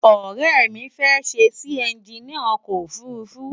Ore mi fe sesi enginia oko ofurufu